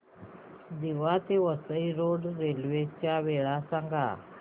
दिवा ते Vasai road railway च्या वेळा सांगा